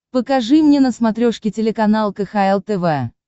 покажи мне на смотрешке телеканал кхл тв